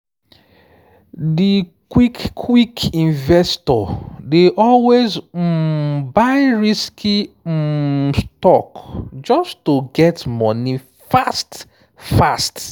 di quick-quick investor dey always um buy risky um stock just to get money fast-fast.